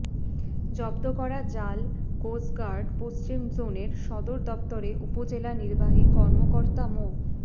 জব্দ করা জাল কোস্টগার্ড পশ্চিম জোনের সদর দপ্তরে উপজেলা নির্বাহী কর্মকর্তা মো